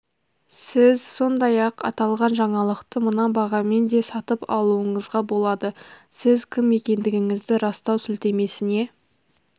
сіз сондай-ақ аталған жаңалықты мына бағамен де сатып алуыңызға болады сіз кім екендігіңізді растау сілтемесіне